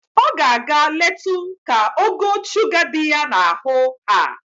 O ga-aga letu ka ogo shuga di ya n'ahụ haa.